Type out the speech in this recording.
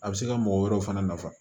A bɛ se ka mɔgɔ wɛrɛw fana nafa